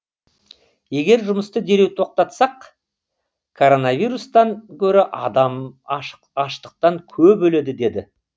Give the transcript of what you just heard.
егер жұмысты дереу тоқтатсақ коронавирустан гөрі адам аштықтан көп өледі деді